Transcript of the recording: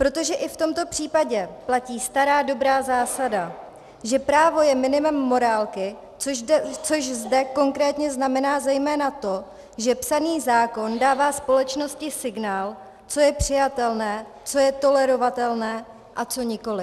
Protože i v tomto případě platí stará dobrá zásada, že právo je minimem morálky, což zde konkrétně znamená zejména to, že psaný zákon dává společnosti signál, co je přijatelné, co je tolerovatelné a co nikoliv.